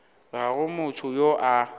ga go motho yo a